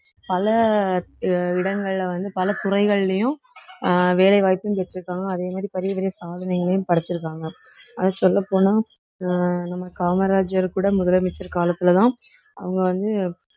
பல அஹ் இடங்கள வந்து பல துறைகள்லயும் அஹ் வேலை வாய்ப்பும் பெற்றிருக்காங்க அதே மாதிரி பெரிய பெரிய சாதனைகளையும் படைச்சிருக்காங்க அதை சொல்லப்போனா அஹ் நம்ம காமராஜர் கூட முதலமைச்சர் காலத்துலதான் அவுங்க வந்து